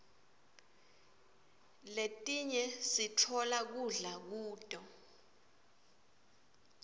letinye siftola kudla kuto